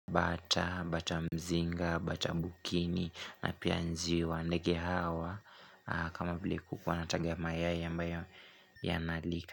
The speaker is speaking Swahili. Bata, bata mzinga, bata bukini na pia njiwa ndege hawa kama vile kuku anataga mayai ambayo yanalika.